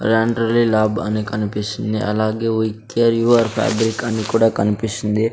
Laundry lab అని కనిపిస్తుంది అలాగే we care you are fabric అని కూడా కనిపిస్తుంది.